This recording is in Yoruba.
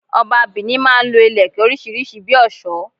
Ọba Benin máa n lo Ìlẹ̀kẹ̀ orísírìsí bi òsó